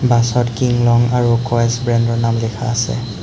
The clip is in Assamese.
বাছত কিং লং আৰু ক'য়েছ ব্ৰেণ্ডৰ নাম লিখা আছে।